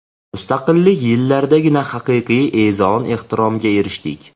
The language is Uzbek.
Mustaqillik yillaridagina haqiqiy e’zoz-ehtiromga erishdik.